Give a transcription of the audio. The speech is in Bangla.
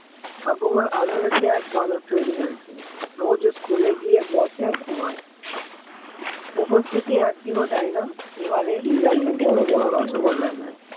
ঠাকুমার আদরে তে এক বাদর তৈরি হয়েছে রোজ school এ গিয়ে বসে আর ঘুমায় উপস্থিতি একদিনও যায় না এবারে result এ বড় বড় রসগোল্লা।